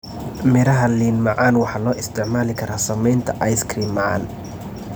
Midhaha liin macan waxaa loo isticmaali karaa sameynta ice cream macaan.